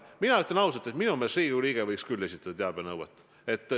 Mina ütlen ausalt, et minu meelest võiks Riigikogu liige küll teabenõudeid esitada.